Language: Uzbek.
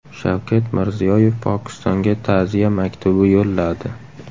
Shavkat Mirziyoyev Pokistonga ta’ziya maktubi yo‘lladi.